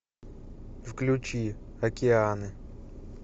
включи океаны